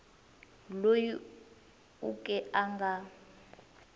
loyi u ke a nga